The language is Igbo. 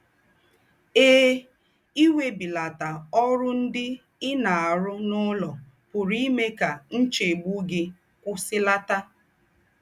Eè, íwèbìlàtà órù ńdị́ í ná-àrụ̀ n’ùlọ̀ pùrù ímè kà ńchègbù gị̀ kwùsìlàtà.